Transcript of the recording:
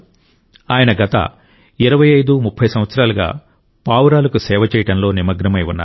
ఆయన గత 2530 సంవత్సరాలుగా పావురాలకు సేవ చేయడంలో నిమగ్నమై ఉన్నారు